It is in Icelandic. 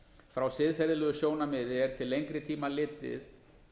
frá siðferðilegu sjónarmiði er til lengri tíma litið